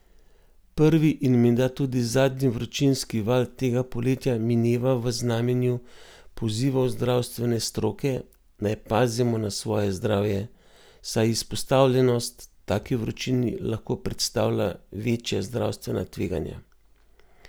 Prvi in menda tudi zadnji vročinski val tega poletja mineva v znamenju pozivov zdravstvene stroke, naj pazimo na svoje zdravje, saj izpostavljenost taki vročini lahko predstavlja večja zdravstvena tveganja.